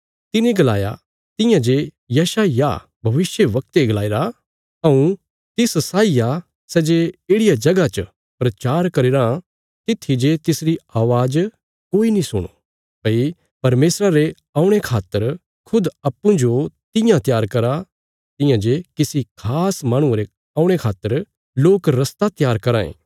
तिने गलाया तियां जे यशायाह भविष्यवक्ते गलाईरा हऊँ तिस साई आ सै जे येढ़िया जगह च प्रचार करी रां तित्थी जे तिसरी अवाज़ कोई नीं सुणो भई परमेशरा रे औणे खातर खुद अप्पूँजो तियां त्यार करा तियां जे किसी खास माहणुये रे औणे खातर लोक रस्ता त्यार कराँ ये